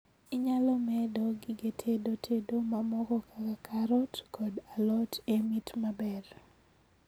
Inyalo medo gige tedo tedo mamoko kaka karot kod alot e mit maber